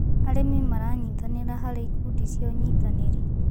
Arĩmĩ maranyĩtanĩra harĩ ĩkũndĩ cĩa ũnyĩtanĩrĩ